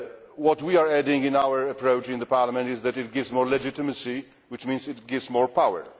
What we are adding in our approach in Parliament is that it gives more legitimacy, which means it gives more